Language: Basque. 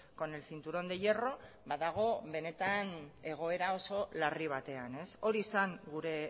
con el cinturón de hierro badago benetan egoera oso larri batean hori zen gure